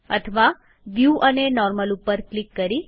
અથવા વ્યુ અને નોર્મલ ઉપર ક્લિક કરી